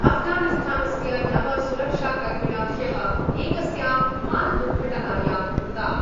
अफगानिस्थानस्य नव सुरक्षाकर्मिण ह्यः एकस्यां विमानदुर्घटनायां मृताः।